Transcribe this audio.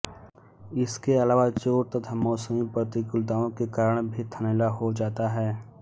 इसके अलावा चोट तथा मौसमी प्रतिकूलताओं के कारण भी थनैला हो जाता हैं